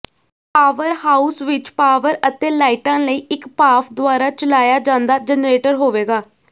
power house ਵਿੱਚ power ਅਤੇ ਲਾਈਟਾਂ ਲਈ ਇੱਕ ਭਾਫ ਦੁਆਰਾ ਚਲਾਇਆ ਜਾਂਦਾ ਜਨਰੇਟਰ ਹੋਵੇਗਾ